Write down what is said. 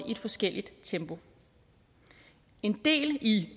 i forskelligt tempo en del i